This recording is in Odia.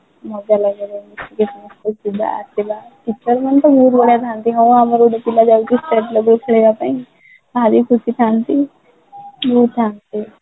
ମଜା ଲାଗେ ବହୁତ school ଯିବା ଆସିବା teacher ମାନେ ତ ବହୁତ ବଢିଆ ଥାନ୍ତି ହଁ ଆମର ଗୋଟେ ପିଲା ଯାଇଛି state level ଖେଳିବା ପାଇଁ ଭାରି ଖୁସି ଥାନ୍ତି